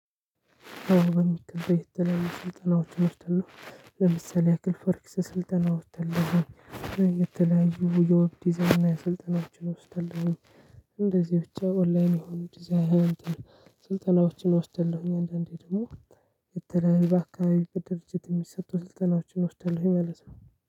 በሚገባ የተለያዩ ስልጠናዎችን እወስዳለሁ ለምሳሌ ያክል ፈርክስ ስልጠናዎች ወይምተለያዩ የውብ ዲዛይና የስልጠናዎችን እወስዳለሁኝ። እንደዚህ ብቻ ኦንላይን የሆኑ ዲዛይን ስልጠናዎችን እወስዳለሁኝ። አንዳንዴ ደግሞ የተለያዩ በአካባቢ በድርጅት የሚሰጡ ስልጠናዎችን እወስዳለሁኝ ማለት ነው።